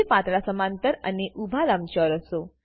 બે પાતળા સમાંતર અને ઉભા લંબચોરસો